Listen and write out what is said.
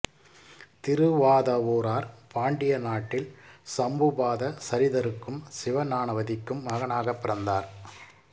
திருவாதவூரார் பாண்டிய நாட்டில் சம்புபாத சரிதருக்கும் சிவஞானவதிக்கும் மகனாகப் பிறந்தார்